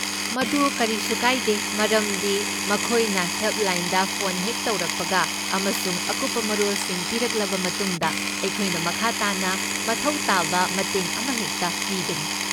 ꯃꯗꯨ ꯐꯀꯔꯤꯁꯨ ꯀꯥꯏꯗꯦ ꯃꯔꯝꯗꯤ ꯃꯈꯣꯏꯅ ꯍꯦꯜꯞꯂꯥꯏꯟꯗ ꯐꯣꯟ ꯍꯦꯛ ꯇꯧꯔꯛꯄꯒ ꯑꯃꯁꯨꯡ ꯑꯀꯨꯞꯄ ꯃꯔꯣꯜꯁꯤꯡ ꯄꯤꯔꯛꯂꯕ ꯃꯇꯨꯡꯗ, ꯑꯩꯈꯣꯏꯅ ꯃꯈꯥ ꯇꯥꯅ ꯃꯊꯧ ꯇꯥꯕ ꯃꯇꯦꯡ ꯑꯃꯍꯦꯛꯇ ꯄꯤꯒꯅꯤ꯫